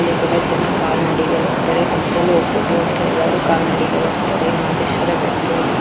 ಅಲ್ಲಿಗೆಲ್ಲ ಜನ ಕಾಲ್ನಡಿಗೆಯಲ್ಲಿ ಹೋಗ್ತಾರೆ ಬಸ್ ಲ್ಲು ಹೋಗಬೋದುಆದರೆ ಎಲ್ಲರು ಕಾಲ್ನಡಿಗೆಯಲ್ಲಿ ಹೋಗ್ತಾರೆ ಮಾದೇಶ್ವರ ಬೆಟ್ಟದಡಿ.